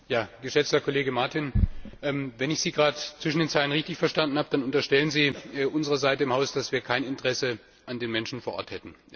Geschätzter Kollege Martin! Wenn ich Sie gerade zwischen den Zeilen richtig verstanden habe, dann unterstellen Sie unserer Seite im Haus, dass wir kein Interesse an den Menschen vor Ort hätten.